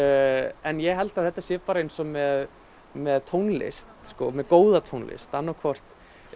en ég held bara að þetta sé bara eins og með tónlist með góða tónlist annaðhvort